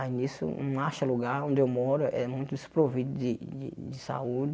Aí nisso, não acha lugar onde eu moro, é muito desprovido de de de saúde.